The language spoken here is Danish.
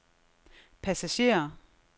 passagerer